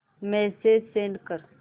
message send कर